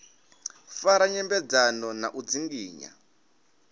fara nyambedzano na u dzinginya